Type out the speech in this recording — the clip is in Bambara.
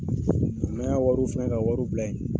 N'an y'a wariw fɛngɛ ka wariw bila ye.